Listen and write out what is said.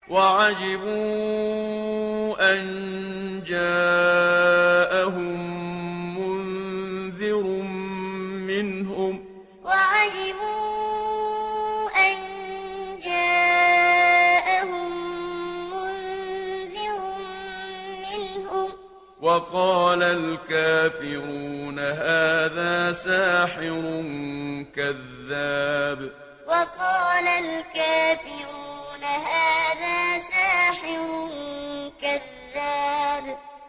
وَعَجِبُوا أَن جَاءَهُم مُّنذِرٌ مِّنْهُمْ ۖ وَقَالَ الْكَافِرُونَ هَٰذَا سَاحِرٌ كَذَّابٌ وَعَجِبُوا أَن جَاءَهُم مُّنذِرٌ مِّنْهُمْ ۖ وَقَالَ الْكَافِرُونَ هَٰذَا سَاحِرٌ كَذَّابٌ